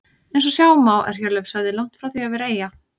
Eins og sjá má er Hjörleifshöfði langt frá því að vera eyja.